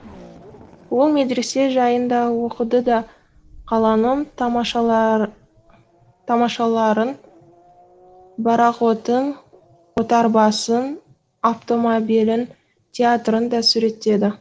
ол медресе жайын да оқыды да қаланың тамашаларын борақотын отарбасын аптомабелін еиатрын да суреттеді